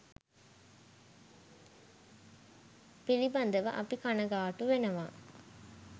පිළිබඳව අපි කණගාටු වෙනවා.